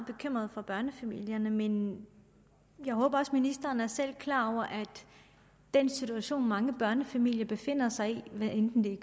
bekymret for børnefamilierne men jeg håber også at ministeren selv er klar over at den situation mange børnefamilier befinder sig i hvad enten det er